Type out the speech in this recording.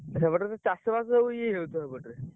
ସେପଟରେ ଚାଷ ବାସ ସବୁ ଇଏ ହେଇଯାଉଥିବ ସେପଟରେ